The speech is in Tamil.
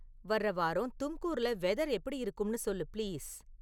வர்ற வாரம் தும்கூர்ல வெதர் எப்படி இருக்கும்னு சொல்லு பிளீஸ்